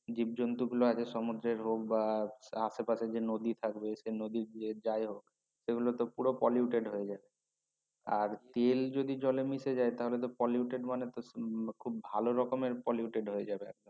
জীব জন্তুর গুলো আছে সমুদ্রের হক বা~ আশে পাশে যে নদী থাকবে সে নদী যে যাই হক সে গুলো তো polluted হয়ে যায় আর তেল যদি জলে মিশে যায় তাহলে তো Polluted মানে খুব ভালো রকমের polluted হয়ে যাবে আর কি